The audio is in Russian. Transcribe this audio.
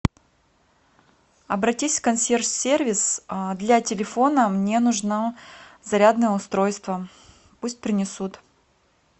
обратись в консьерж сервис для телефона мне нужно зарядное устройство пусть принесут